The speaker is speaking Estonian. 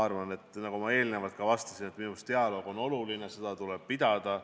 Nagu ma ka eelnevalt vastasin, minu meelest on dialoog oluline, seda tuleb pidada.